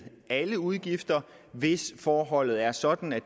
alle udgifter hvis forholdet er sådan at